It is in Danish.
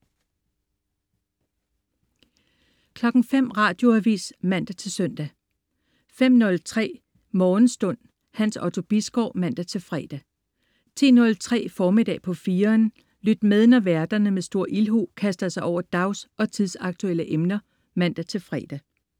05.00 Radioavis (man-søn) 05.03 Morgenstund. Hans Otto Bisgaard (man-fre) 10.03 Formiddag på 4'eren. Lyt med, når værterne med stor ildhu kaster sig over dags- og tidsaktuelle emner (man-fre)